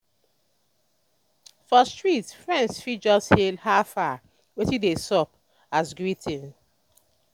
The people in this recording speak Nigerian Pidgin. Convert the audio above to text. for street friends fit just hail "how far? wetin dey sup?" as greeting.